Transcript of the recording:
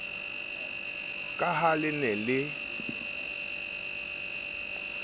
ka ha le ne le